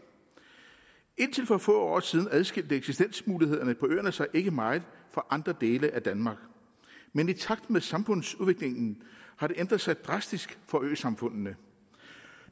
indtil for få år siden adskilte eksistensmulighederne på øerne sig ikke meget fra andre dele af danmark men i takt med samfundsudviklingen har det ændret sig drastisk for øsamfundene